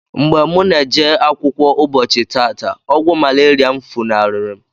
Mgbe mụ na-eje akwụkwọ ụbọchi tata, ogwu malaria mụ funari mu.